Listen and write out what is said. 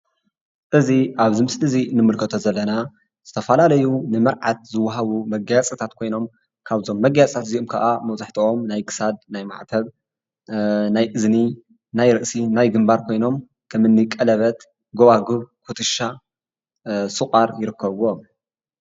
እዚ ኣብዚ ምስሊ እዚ ንምልከቶ ዘለና ዝተፈላለዩ ንመርዓት ዝወሃቡ መጋየጽታት ኮይኖም ካብዞም መጋየጽታት ካብዞም መጋየጽታት እዚኦም ከኣ መብዛሕትኦም ናይ ክሳድ፣ ናይ ማዕተብ፣ ናይ እዝኒ፣ ናይ ርእሲ፣ ናይ ግምባር ኮይኖም ከም እኒ ቀለበት፣ ጎዋግብ፣ ኩትሻ ፣ስቋር ይርክርብዎም።